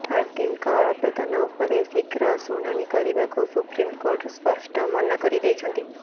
ହାର୍ଦ୍ଦିକଙ୍କ ଆବେଦନ ଉପରେ ଶୀଘ୍ର ଶୁଣାଣୀ କରିବାକୁ ସୁପ୍ରିମକୋର୍ଟ ସ୍ପଷ୍ଟ ମନା କରିଦେଇଛନ୍ତି